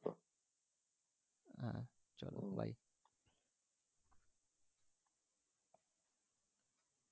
চল bye